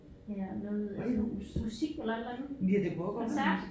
Ja noget med noget musik eller et eller andet koncert